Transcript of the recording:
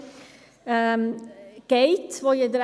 Die Motionärin hat das Wort.